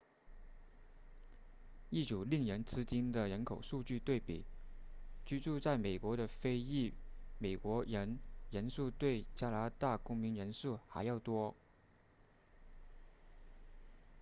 一组令人吃惊的人口数据对比居住在美国的非裔美国人人数比加拿大公民人数还要多